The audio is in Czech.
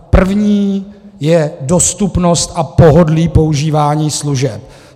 Prvním je dostupnost a pohodlí používání služeb.